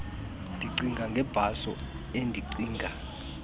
ndicinga ngebhaso endicinga